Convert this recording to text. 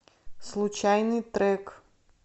случайный трек